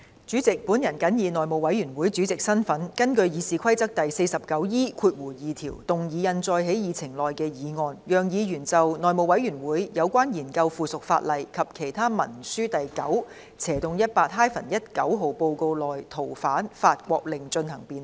主席，我謹以內務委員會主席的身份，根據《議事規則》第 49E2 條，動議印載在議程內的議案，讓議員就《內務委員會有關研究附屬法例及其他文書的第 9/18-19 號報告》內的《逃犯令》進行辯論。